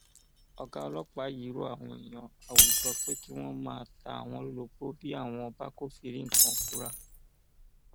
ọgá ọlọpàá yìí rọ àwọn èèyàn àwùjọ pé kí wọn máa ta àwọn lólobó bí wọn bá kọfíìrì nǹkan ìfura